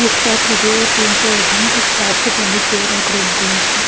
एक साथ रखे हुए तीन चेयर है एक प्लास्टिक वाली चेयर है क्रीम कलर की।